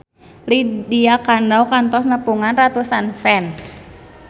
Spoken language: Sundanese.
Lydia Kandou kantos nepungan ratusan fans